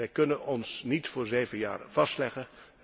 Wij kunnen ons niet voor zeven jaren vastleggen.